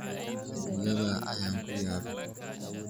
Tarbiyadha ayan kuyabe.